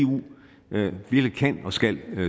kan og skal